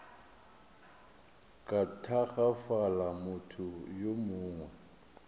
ka tagafala motho yo mongwe